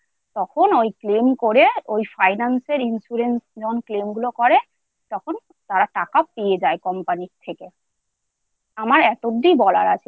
যাঁরা finance গাড়ি নেয় হয়তো গাড়ির EMI দিতে পারছে না তখন ওই claim করে ওই finance এর insurance sceme গুলো করে তখন তারা টাকা পেয়ে যায় company এর থেকে।